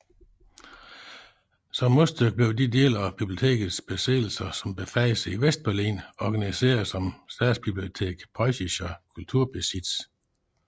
Som modstykke blev de dele af bibliotekets besiddelser som befandt sig i Vestberlin organiseret som Staatsbibliothek Preußischer Kulturbesitz